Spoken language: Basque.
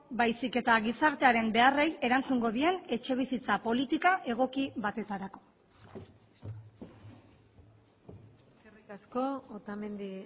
baizik eta gizartearen beharrei erantzungo dien etxebizitza politika egoki batetarako eskerrik asko otamendi